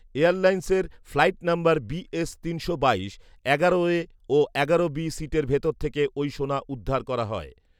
এয়ারলাইনসের flight number BS তিনশো বাইশ এগারো এ ও এগারো বি সিটের ভেতর থেকে ওই সোনা উদ্ধার করা হয়।